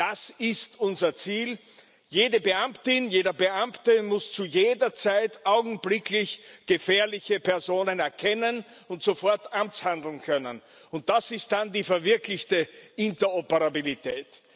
Denn das ist unser Ziel Jede Beamtin, jeder Beamte muss zu jeder Zeit augenblicklich gefährliche Personen erkennen und sofort amtshandeln können. Und das ist dann die verwirklichte Interoperabilität.